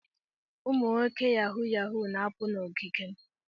Ụmụ nwoke Yahoo yahoo na-apụ na ogige m.